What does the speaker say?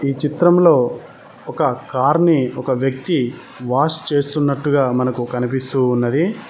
ఈ చిత్రంలో ఒక కారు ని ఒక వ్యక్తి వాష్ చేస్తున్నట్టుగా మనకు కనిపిస్తూ ఉన్నది.